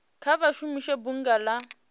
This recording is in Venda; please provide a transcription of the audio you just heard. kha vha shumise bunga la